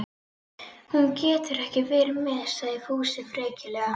Hún getur ekki verið með, sagði Fúsi frekjulega.